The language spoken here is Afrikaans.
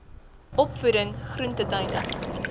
opvoeding groente tuine